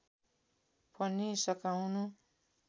पनि सकाउनु